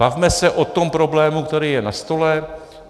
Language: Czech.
Bavme se o tom problému, který je na stole!